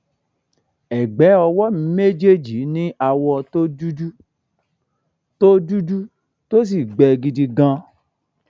ẹgbẹ ọwọ mi méjèèjì ní awọ tó dúdú tó dúdú tó sì gbẹ gidi gan-an